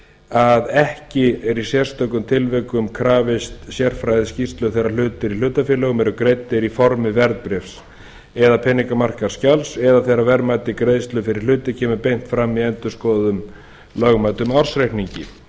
að ekki er í sérstökum tilvikum krafist sérfræðiskýrslu þegar hlutir í hlutafélögum eru greiddir í formi verðbréfs eða peningamarkaðsskjals eða þegar verðmæti greiðslu fyrir hluti kemur beint fram í endurskoðuðum lögmæltum ársreikningi